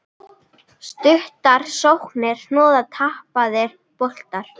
Stuttar sóknir, hnoð, tapaðir boltar.